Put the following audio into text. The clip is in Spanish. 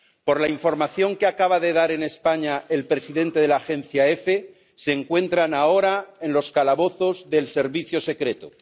Por la información que acaba de dar en España el presidente de la Agencia EFE, se encuentran ahora en los calabozos del servicio secreto.